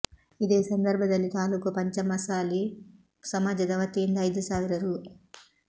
ಇದೇ ಸಂದರ್ಭದಲ್ಲಿ ತಾಲೂಕು ಪಂಚಮಸಾಲಿ ಸಮಾಜದ ವತಿಯಿಂದ ಐದು ಸಾವಿರ ರೂ